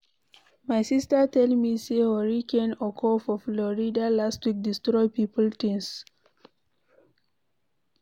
My sister tell me say hurricane occur for Florida last week destroy people things.